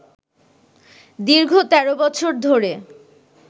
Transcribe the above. দীর্ঘ ১৩ বছর ধরে